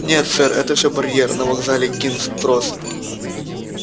нет сэр это всё барьер на вокзале кингс-кросс